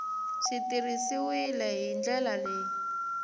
swi tirhisiwile hi ndlela leyi